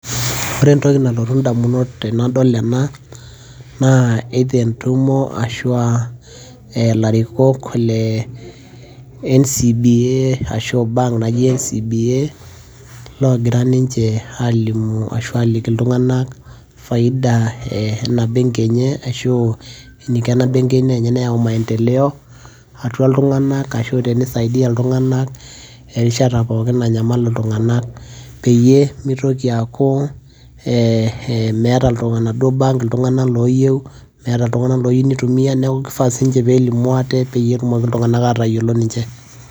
ore entoki nalotu damunot tenadol ena, naa either entumo ashu aa ilarikok le ncba ashu aa bank naji ncba. loogira ninche aalimu ashu aliki iltunganak faida ena benki enye ashu eniko ena benki enye teneyau maendeleo atua iltunganak. ashu aa tenisaidia iltunganak erishata pookin nanyamal iltunganak. peyie mitoki aaku ee meeta bank iltunganak ooyieu, meeta iltunganak oitumia neeku kifaa nelimu aate pee etumoki iltunganak aatayiolo ninche.